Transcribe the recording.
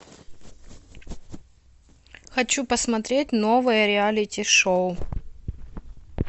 хочу посмотреть новое реалити шоу